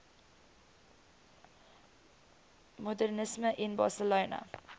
modernisme in barcelona